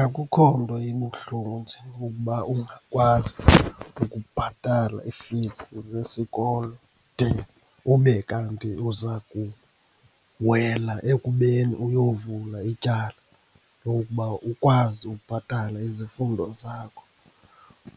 Akukho nto ibuhlungu njengokuba ungakwazi ukubhatala iifizi zesokolo de ube kanti uzakuwela ekubeni uyovula ityala lokuba ukwazi ubhatala izifundo zakho.